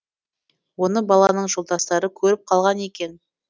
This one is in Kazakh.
оны баланың жолдастары көріп қалған екен